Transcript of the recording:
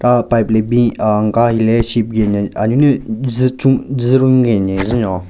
Aah pipe le bin aa nka hile ship gen nyen a-nyu ne zu chun zu run gen nyen njen nyon.